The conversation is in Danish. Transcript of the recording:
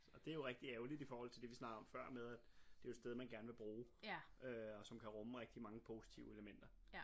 og det jo rigtig ærgeligt i forhold til det vi snakkede om før med at det jo et sted man gerne vil bruge øh og som kan rumme rigtig mange positive elementer